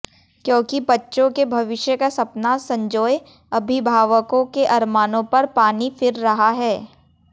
क्योंकि बच्चों के भविष्य का सपना संजोए अभिभावकों के अरमानों पर पानी फिर रहा है